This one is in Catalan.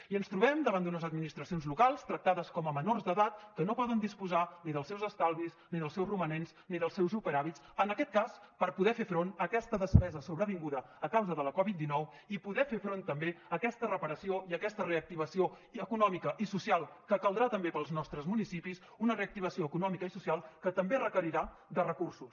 i ens trobem davant d’unes administracions locals tractades com a menors d’edat que no poden disposar ni dels seus estalvis ni dels seus romanents ni dels seus superàvits en aquest cas per poder fer front a aquesta despesa sobrevinguda a causa de la covid dinou i poder fer front també a aquesta reparació i a aquesta reactivació econòmica i social que caldrà també per als nostres municipis una reactivació econòmica i social que també requerirà de recursos